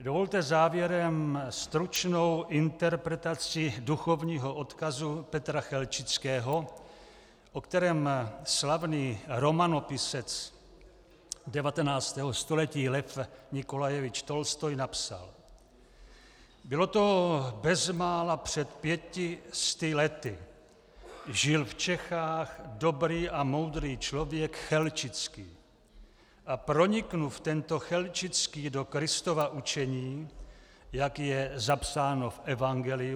Dovolte závěrem stručnou interpretaci duchovního odkazu Petra Chelčického, o kterém slavný romanopisec 19. století Lev Nikolajevič Tolstoj napsal: "Bylo to bezmála před pěti sty lety, žil v Čechách dobrý a moudrý člověk Chelčický a pronikl tento Chelčický do Kristova učení, jak je zapsáno v evangeliu.